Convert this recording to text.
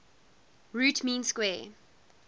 root mean square